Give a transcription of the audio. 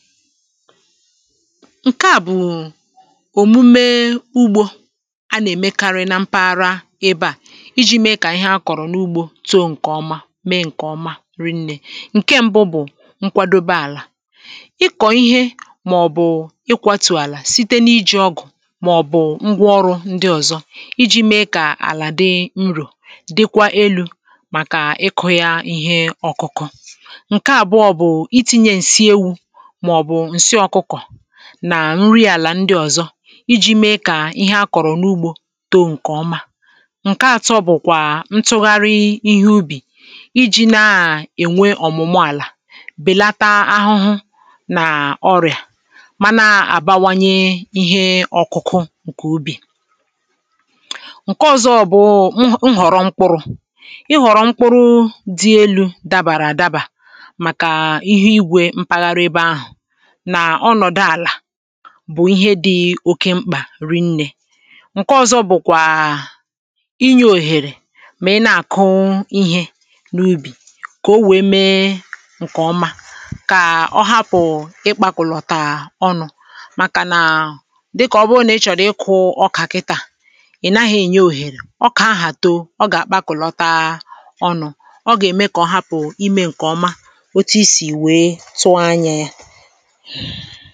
ǹke à bụ̀ òmume ugbȯ a na-èmekarị nà mpaghara ebe à iji̇ mee kà ihe akọ̀rọ̀ n’ugbȯ too ǹkè oma mee ǹkè oma rinnė ǹke mbụ bụ̀ nkwàdobe àlà ịkọ̀ ihe màọ̀bụ̀ ịkwatù àlà site n’iji̇ ọgụ̀ màọ̀bụ̀ ngwa ọrụ̇ ndị ọ̀zọ iji̇ mee kà àlà dị nrò dịkwa elu̇ màkà ịkụ̇ yȧ ihe ọkụkụ ǹsi ọ̀kụkọ̀ nà nri àlà ndị ọ̀zọ iji̇ mee kà ihe a kọ̀rọ̀ n’ugbȯ too ǹkè ọma ǹke atọ bụ̀kwà ntụgharị ihe ubì iji̇ na-ènwe ọ̀mụ̀mụ àlà bèlata ahụhụ nà ọrịà mana àbawanye ihe ọkụkụ ǹkè ubì ǹke ọ̀zọ bụụ nhọ̀rọ mkpuru ịhọ̀rọ mkpuru dị elu̇ dabàrà àdaba màkà ihe igwè mpaghara ebe ahụ̀ nà ọ nọ̀dụ àlà bụ̀ ihe dị̇ oke mkpà ri nnė ǹke ọzọ bụ̀kwà inyė òhèrè mà ị na-àkụ ihė n’ubì kà o wėė mee ǹkè ọma kà ọ hapụ̀ ịkpȧkụ̀lọ̀tà ọnụ̇ màkànà dịkà ọ bụrụ nà ị chọ̀rọ̀ ịkụ̇ ọkà kịtà ị nahị̇ ènye òhèrè ọ kà ahà too ọ gà-àkpàkụ̀lọta ọnụ̇ ọ gà-ème kà ọ hapụ̀ imė ǹkè ọma otu i sì wèe tụọ anyȧ yȧ ha